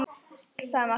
sagði Magga.